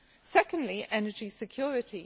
Secondly, energy security.